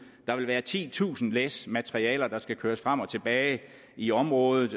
der vil være titusind læs materialer der skal køres frem og tilbage i området